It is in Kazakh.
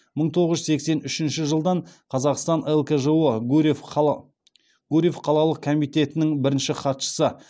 мың тоғыз жүз сексен үшінші жылдан қазақстан лкжо гурьев қалалық комитетінің бірінші хатшысы